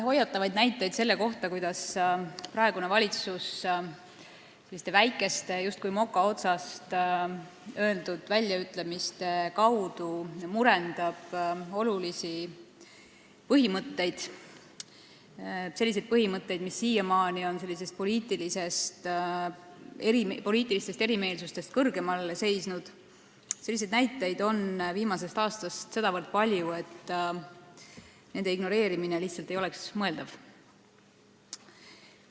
Hoiatavaid näiteid selle kohta, kuidas praegune valitsus väikeste, justkui moka otsast öeldud väljaütlemistega murendab olulisi põhimõtteid – selliseid põhimõtteid, mis siiamaani on poliitilistest erimeelsustest kõrgemal seisnud –, on viimasel aastal olnud sedavõrd palju, et nende ignoreerimine ei oleks lihtsalt mõeldav.